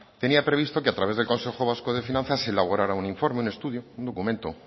tenía previsto que a través del consejo vasco de finanzas se elaborara un informe un estudio un documento